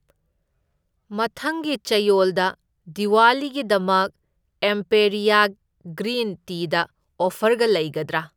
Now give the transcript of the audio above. ꯃꯊꯪꯒꯤ ꯆꯌꯣꯜꯗ ꯗꯤꯋꯥꯂꯤꯒꯤꯗꯃꯛ ꯑꯦꯝꯄꯦꯔꯤꯌꯥ ꯒ꯭ꯔꯤꯟ ꯇꯤꯗ ꯑꯣꯐꯔꯒ ꯂꯩꯒꯗ꯭ꯔꯥ?